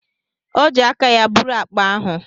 O ji aka ya buru akpa ahụ.